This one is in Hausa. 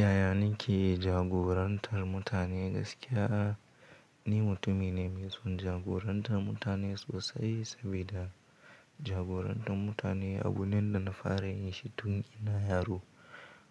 Yaya nake jagorantar mutane gaskiya? Ni mutumi ne mai son jagorantar mutane sosai, sabida jagorantar mutane abu ne da na fara yin shi tun ina yaro.